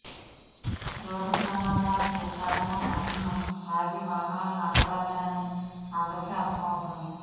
road ప్రమాదాలకు ప్రధాన కారణం తాగి వాహనాలు నడపడమేనని అందరికీ అర్థమవుతోంది